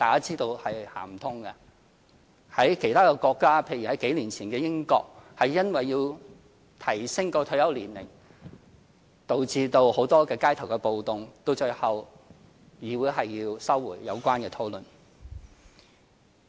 在其他國家，例如數年前的英國，因為要提升退休年齡而導致很多街頭暴動，最後議會要收回有關討論。